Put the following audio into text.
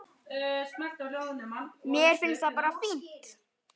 Mér finnst það bara fínt.